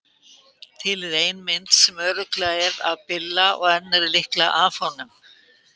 Til er ein mynd sem örugglega er af Billa og önnur er líklega af honum.